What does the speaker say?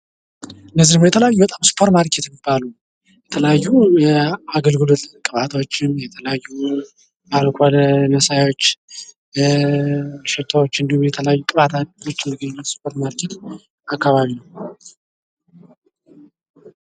እነዚህ ደግሞ የተለያዩ ሱፐርሜርኬት የሚባሉ የተለያዩ አገልግሎት ቅባቶችን የተለያዩ አረንጓዴ መሳያዎች ሽቶዎች እንድሁም የተለያዩ ቅባት በሱፐር ማርኬት አካባቢ ነው።